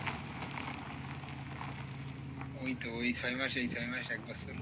ওইতো ওই ছয় মাস এই ছয় মাস এক বছর।